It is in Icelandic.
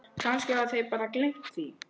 Kannski hafa þeir bara gleymt því.